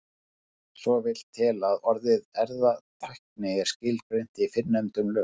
Svo vill til að orðið erfðatækni er skilgreint í fyrrnefndum lögum.